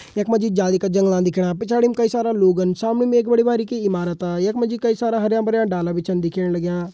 यख मा जी जाली का जंगला दिखेणा पिछाड़ीम कई सारा लोगन सामनेम एक बड़ी बारिकी इमारता। यख मा जी कई सारा हरयां भरयां डाला भी छन दिखेण लग्यां।